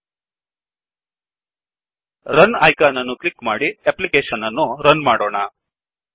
run icon ಅನ್ನು click ಮಾಡಿ application ಅನ್ನು ರನ್ ಮಾಡೋಣ